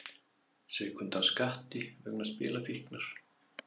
Sveik undan skatti vegna spilafíknar